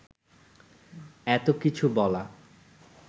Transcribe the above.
এত কিছু বলা